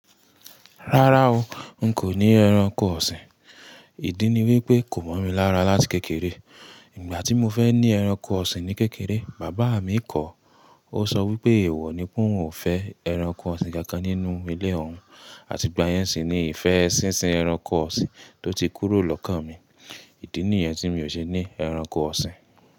Rárá o, n kò ní ẹranko ọ̀sìn. Ìdí ni wípé kò mọ́ mi lára láti kékeré. Ìgbà tí mo fẹ́ ní ẹranko ọ̀sìn ní kékeré, bàbá mi kọ̀ ọ́. Ó sọ wípé èwọ̀ ni pé òun ò fẹ́ ẹranko ọ̀sìn kankan nínú ilé òun àti ìgbà yẹn sì ni ìfẹ́ sínsin ẹranko ọ̀sìn tó ti kúrò lọ́kàn mi. Ìdí nìyẹn tí mi ò ṣe ní ẹranko ọ̀sìn.